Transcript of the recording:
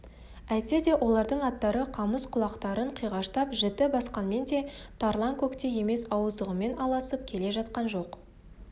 әйтсе де олардың аттары қамыс құлақтарын қиғаштап жіті басқанмен де тарланкөктей емес ауыздығымен алысып келе жатқан жоқ